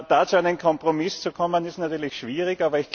Da zu einem Kompromiss zu kommen, ist natürlich schwierig.